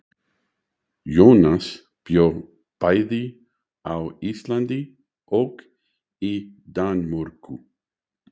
Jónas bjó bæði á Íslandi og í Danmörku.